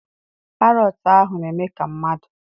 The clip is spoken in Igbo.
Parọọtụ ahụ na-eme ka mmadụ.